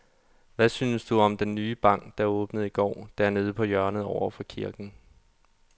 Hvad synes du om den nye bank, der åbnede i går dernede på hjørnet over for kirken?